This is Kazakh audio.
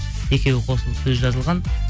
екеуі қосылып сөзі жазылған